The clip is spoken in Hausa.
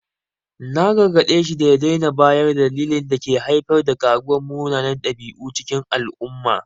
Na gargade shi da ya daina bayar da dalilan da ke haifar da karuwar munanan dabi’u a cikin al’umma.